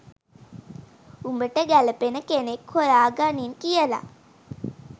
උඹට ගැලපෙන කෙනෙක් හොයාගනින් කියලා